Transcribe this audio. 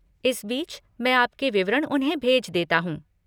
इस बीच, मैं आपके विवरण उन्हें भेज देता हूँ।